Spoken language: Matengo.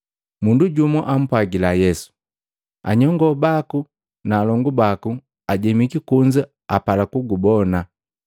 Mundu jumu ampwagila Yesu, “Anyongo baku na alongu baku ajemiki kunza, apala kugubona.”